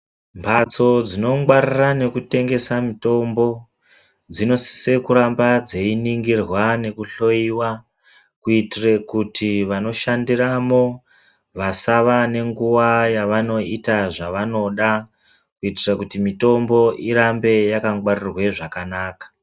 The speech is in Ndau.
Mhatso dzinongwarira nekutengesa mutombo dzinosise kuramba dzeiningirwa nekuhloiwa kuitire kuti vanoshandiramo vasava nenguva yavanoita zvavanoda kuitira kuti mitombo urambe wakangwarirwe zvakanaka .